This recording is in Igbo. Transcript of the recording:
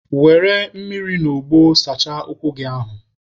Were mmiri na ogbo sachaa ụkwụ gị ahụ!